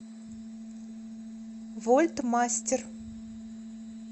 вольт мастер